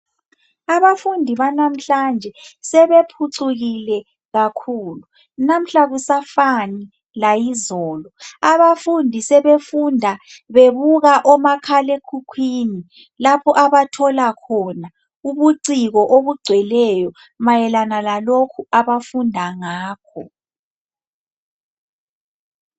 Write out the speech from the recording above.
Abafundi banamhlanje sebephucukile kakhulu. Namuhla akusafani layizolo. Abafundi sebefunda bebuka omakhalekhukhwini lapho abathola khona ubuciko obugcweleyo mayelana lalokhu abafunda ngakho.